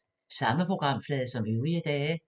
Samme programflade som øvrige dage